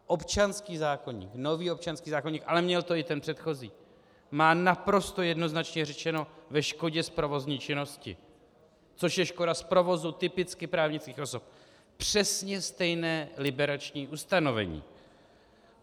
Občanský zákoník, nový občanský zákoník, ale měl to i ten předchozí, má naprosto jednoznačně řečeno ve škodě z provozní činnosti, což je škoda z provozu typicky právnických osob, přesně stejné liberační ustanovení.